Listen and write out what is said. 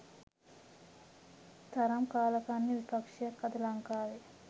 තරම් කාලකන්නි විපක්ෂයක් අද ලංකාවේ.